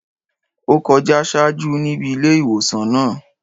Ó kọjá ṣáájú níbi ilé ìwòsàn náà.